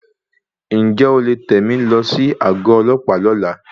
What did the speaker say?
Ǹjẹ́ o lè tẹ mi lọ sí àgọ ọlọ́pàá lọ́la?